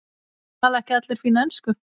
Tala ekki allir fína ensku?